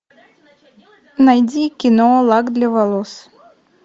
найди кино лак для волос